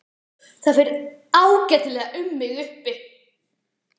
Það fer ágætlega um mig uppi.